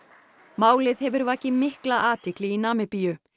málið hefur vakið mikla athygli í Namibíu